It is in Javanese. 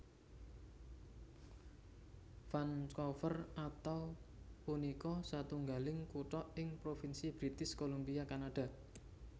Vancouver atau punika satunggaling kutha ing Propinsi British Columbia Kanada